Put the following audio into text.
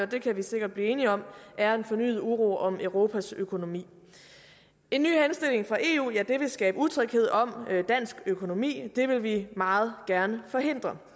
det kan vi sikkert blive enige om er fornyet uro om europas økonomi en ny henstilling fra eu vil skabe utryghed om dansk økonomi det vil vi meget gerne forhindre